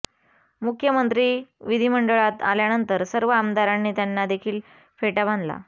मुख्यमंत्री विधीमंडळात आल्यानंतर सर्व आमदारांनी त्यांना देखील फेटा बांधला